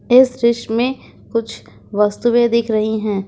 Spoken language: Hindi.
इस दृश्य में कुछ वस्तुएं दिख रही हैं।